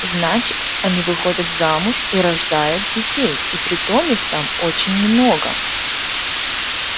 значит они выходят замуж и рождают детей и притом их там очень много